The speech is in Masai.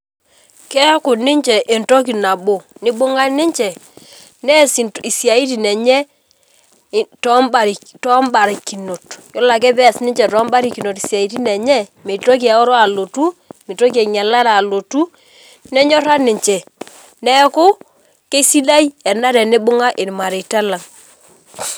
Keaku ninche entoki nabo nibung'a ninche neas isiatin enye tombarikinot yiolo ake peas ninche tombarikinot siatin enye mitoki eoro aloto, mitoki enyalare alotu nenyora ninche neaku kesidai ena tenibungae irmareita lang